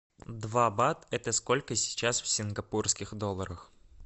два бат это сколько сейчас в сингапурских долларах